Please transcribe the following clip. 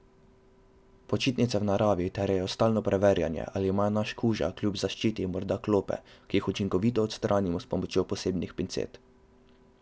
Počitnice v naravi terjajo stalno preverjanje, ali ima naš kuža, kljub zaščiti, morda klope, ki jih učinkovito odstranimo s pomočjo posebnih pincet.